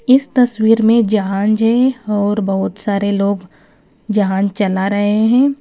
इस तस्वीर में जहांज और बहोत सारे लोग जहांज चला रहे हैं।